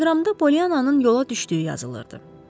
Teleqramda Pollyannanın yola düşdüyü yazılırdı.